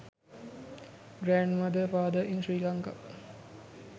grand mother father in sri lanka